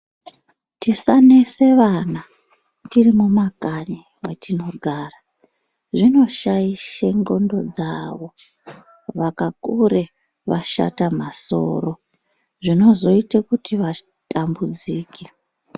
Tisanese vana tiri mumakanyi mwetinogara, zvinoshayishe ndxondo dzavo, vakakure vashata masoro, zvinozoyite kuti vatambudzike.